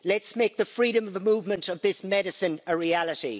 Let's make the freedom of the movement of this medicine a reality.